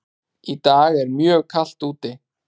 Í dag er mjög kalt úti.